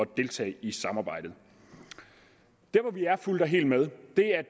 deltage i samarbejdet der hvor vi er fuldt og helt med